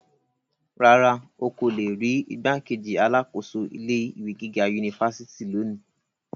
Rárá, o ko le ri rii igbákejì alákòóso ilé ìwé gíga unifásitì loni.